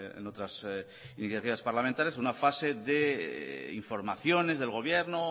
en otras iniciativas parlamentarias en una fase de informaciones del gobierno